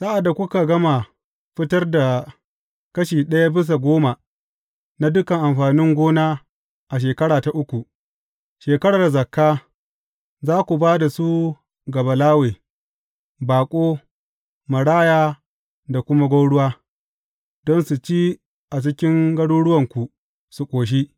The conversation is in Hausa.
Sa’ad da kuka gama fitar da kashi ɗaya bisa goma na dukan amfanin gona a shekara ta uku, shekarar zakka, za ku ba da su ga Balawe, baƙo, maraya da kuma gwauruwa, don su ci a cikin garuruwanku su ƙoshi.